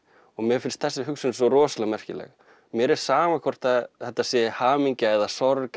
og mér finnst þessi hugsun svo rosalega merkileg mér er sama hvort að þetta sé hamingja eða sorg